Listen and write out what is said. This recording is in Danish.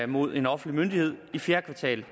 mod en offentlig myndighed i fjerde kvartal